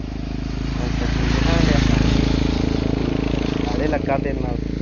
ਅੱਛਾ ਚੀਜ਼ ਦਿਖਾਉਣ ਡਿਆ ਸੀ ਤੁਹਾਨੂੰ। ਆੜੇ ਲੱਗਾ ਤੇਰੇ ਨਾਲ